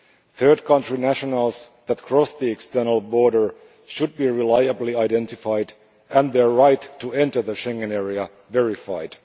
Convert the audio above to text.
Third country nationals that cross the external border should be reliably identified and their right to enter the Schengen area verified.